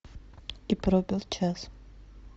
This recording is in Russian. и пробил час